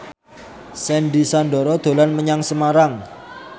Sandy Sandoro dolan menyang Semarang